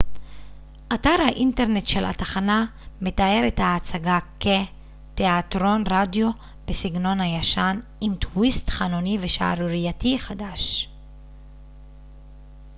אתר האינטרנט של התחנה מתאר את ההצגה כ תיאטרון רדיו בסגנון הישן עם טוויסט חנוני ושערורייתי חדש